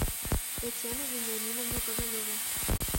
татьяну вениаминовну ковалеву